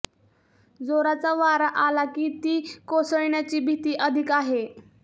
जोराचा वारा आला की ती कोसळण्याची भीती अधिक आहे